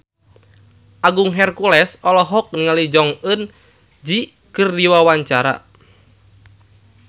Agung Hercules olohok ningali Jong Eun Ji keur diwawancara